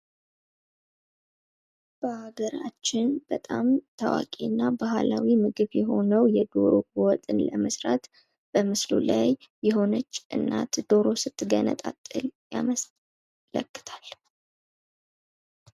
በሃገራችን በጣም ታዋቂ እና ባህላዊ ምግብ የሆነው የዶሮ ወጥን ለመስራት የሆነች እናት ዶሮ ስትገነጣጥል ያመለክታል።